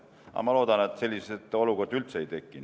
Aga ma loodan, et selliseid olukordi üldse ei teki.